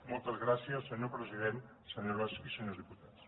moltes gràcies senyor president senyores i senyors diputats